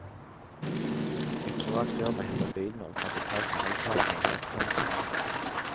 Et privat firma henter bilene og tar betalt med halvparten av vrakpanten.